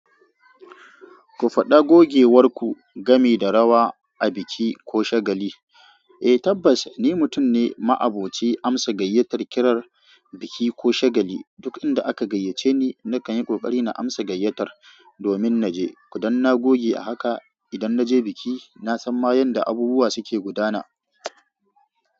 Ku faɗa gogewar ku game da rawa a biki ko shagali. Eh tabbas ni mutum ne ma'aboci amsa gayyatar kirar biki ko shagali. Duk inda aka gayyace ni nakan yi ƙoƙari na amsa gayyatar domin naje. Kudan na goge a haka idan naje biki. Na san ma yanda abubuwa suke gudana.